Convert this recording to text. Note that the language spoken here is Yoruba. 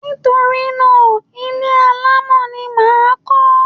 Nítorí náà, ilé alámọ̀ ni mà á kọ́.